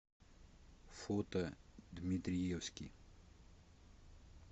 фото дмитриевский